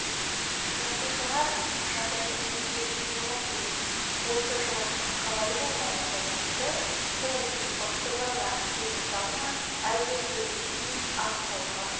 жасушалар жағдайдың өзгеруіне жауап береді осы жауаптың қалай болғанына байланысты қолайсыз факторларға сезімтал ма әлде төзімді ме анықтауға